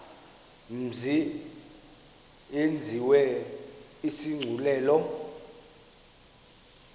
mzi yenziwe isigculelo